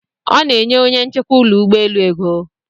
Ọ na-enye onye nchekwa ụlọ ụgbọelu ego.